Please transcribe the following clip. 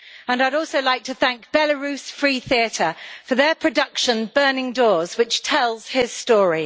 I would also like to thank Belarus Free Theatre for their production Burning Doors', which tells his story.